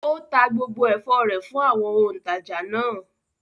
Ó ta gbogbo ẹ̀fọ́ rẹ̀ fún àwọn òǹtajà náà?